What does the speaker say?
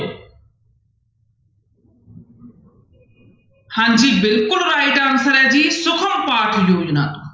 ਹਾਂਜੀ ਬਿਲਕੁਲ right answer ਹੈ ਜੀ ਸੁਖਮ ਤੋਂ